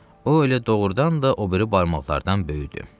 O elə doğurdan da o biri barmaqlardan böyükdür.